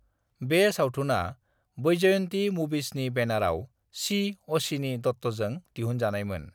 बे सावथुना वैजयंती मूवीजनि बैनराव सी. अश्विनी दत्तजों दिहुनजानायमोन।